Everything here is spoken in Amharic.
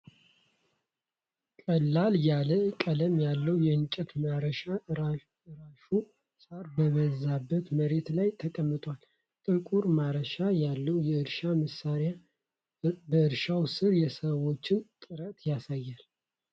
ቀለል ያለ ቀለም ያለው የእንጨት ማረሻ (አራሹ) ሣር በበዛበት መሬት ላይ ተቀምጧል። ጥቁር ማረሻ ያለው የእርሻ መሣሪያው በእርሻ ሥራ የሰዎችን ጥረትን ያሳያል።